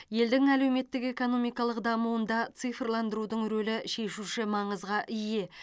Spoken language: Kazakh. елдің әлеуметтік экономикалық дамуында цифрландырудың рөлі шешуші маңызға ие